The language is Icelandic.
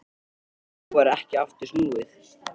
En nú var ekki aftur snúið.